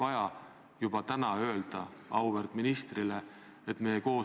Nii et palun see protokolli huvides kindlasti fikseerida.